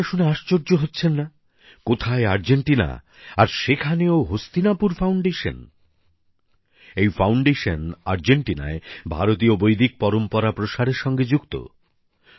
আপনারা শুনে আশ্চর্য হচ্ছেন না কোথায় আর্জেন্টিনা আর সেখানেও হস্তিনাপুর ফাউন্ডেশন এই ফাউন্ডেশন আর্জেন্টিনায় ভারতীয় বৈদিক পরম্পরা প্রসারের সঙ্গে যুক্ত